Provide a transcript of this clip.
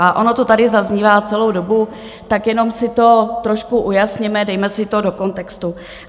A ono to tady zaznívá celou dobu, tak jenom si to trošku ujasněme, dejme si to do kontextu.